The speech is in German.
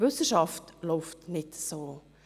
Wissenschaft läuft nicht so.